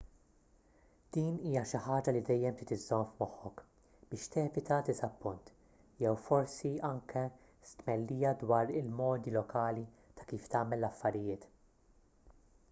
din hija xi ħaġa li dejjem trid iżżomm f'moħħok biex tevita diżappunt jew forsi anki stmellija dwar il-modi lokali ta' kif tagħmel l-affarijiet